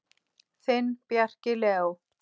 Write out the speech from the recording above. Þinn, Bjarki Leó.